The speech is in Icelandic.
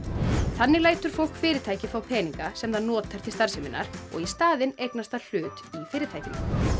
þannig lætur fólk fá fyrirtæki fá peninga sem það notar til starfsemi og í staðin eignast það hlut í fyrirtækinu